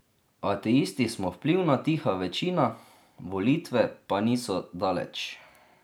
Ateisti smo vplivna tiha večina, volitve pa niso daleč...